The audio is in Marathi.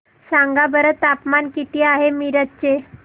सांगा बरं तापमान किती आहे मिरज चे